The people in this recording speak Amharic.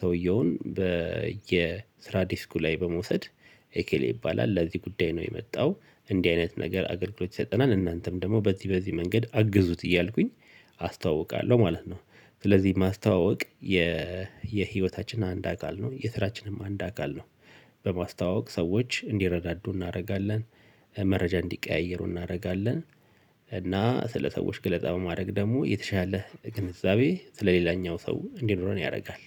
ሰውየውን በየስራ ዲስኩ ላይ በመውሰድ ኤኬሌ ይባላል ለዚህ ጉዳይ ነው የመጣው። እንዲህ አይነት ነገር አገልግሎት ሳይጠናን እናንተም ደግሞ በዚህ በዚህ መንገድ አግዙት እያልኩኝ አስተዋውቃለሁ ማለት ነው። ስለዚህ ማስተዋወቅ የ የህይወታችን አንድ አካል ነው የስራችንም አንድ አካል ነው። በማስተዋወቅ ሰዎች እንዲረዳዱ እናደርጋለን። መረጃ እንዲቀያየሩ እናደርጋለን። እና ስለ ሰዎች ገለጻ በማድረግ ደግሞ የተሻለ ግንዛቤ ስለሌላኛው ሰው እንዲኖረን ያደርጋል